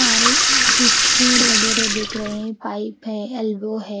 सारे switch board वगैरह देख रहे हैं पाइप है एल्बो है।